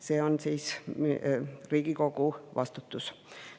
See on siis Riigikogu vastutus.